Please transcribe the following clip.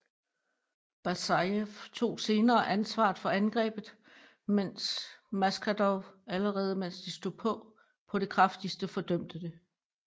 Basajev tog senere ansvar for angrebet mens Maskhadov allerede mens det stod på det kraftigste fordømte det